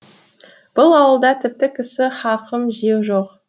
бұл ауылда тіпті кісі хақын жеу жоқ